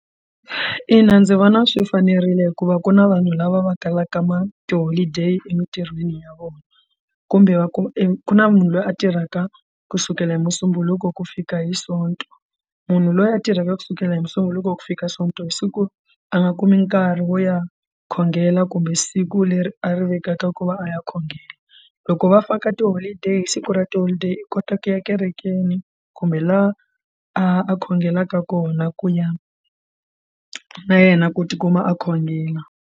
Ina, ndzi vona swi fanerile hikuva ku na vanhu lava va kalaka ma tiholideyi emintirhweni ya vona kumbe va ku ku na munhu loyi a tirhaka kusukela hi musumbhuluku ku fika hi sonto munhu loyi a tirhaka kusukela hi musunguri loko ku fika sonto siku a nga kumi nkarhi wo ya khongela kumbe siku leri a ri vekaka ku va a ya khongela loko va faka tiholideyi siku ra tiholideyi i kota ku ya ekerekeni kumbe laha a khongelaka kona ku ya na yena ku tikuma a khongela.